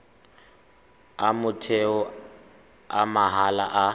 a motheo a mahala a